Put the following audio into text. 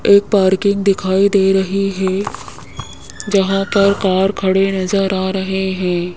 एक पार्किंग दिखाई दे रही है जहां पर कार खड़े नजर आ रहे है।